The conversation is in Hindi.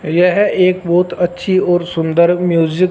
यह एक बहोत अच्छी और सुंदर म्यूजिक --